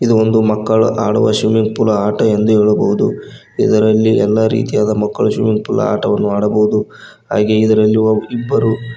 ಇದು ಒಂದು ಮಕ್ಕಳು ಆಡುವ ಸ್ವಿಮ್ಮಿಂಗ್ ಪೂಲ್ ಆಟ ಎಂದು ಹೇಳಬಹುದು ಇದರಲ್ಲಿ ಎಲ್ಲಾ ರೀತಿಯಾದ ಮಕ್ಕಳು ಸ್ವಿಮ್ಮಿಂಗ್ ಪೂಲ್ ಆಟವನ್ನು ಆಡಬಹುದು ಹಾಗೆ ಇದರಲ್ಲಿ ಇಬ್ಬರು--